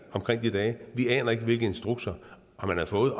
de dage vi aner ikke hvilke instrukser han har fået